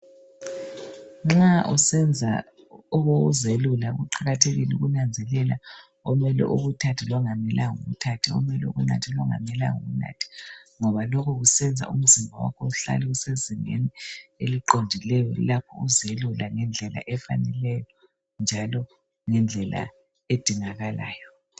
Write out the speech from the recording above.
Nxa usenza okokuzelula kuqakathekile ukunazelela okumele ukuthathe lokungamelanga ukuthathe, okumele ukunathe lokungamelanga ukunathe ngoba lokhu kusenza umzimba wakho uhlale usezingeni eliqondileyo lapho uzelula ngendlela efaneleyo njalo ngendlela edingakalayo.